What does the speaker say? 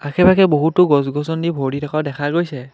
আশে-পাশে বহুতো গছ-গছনি ভৰি থকা দেখা গৈছে।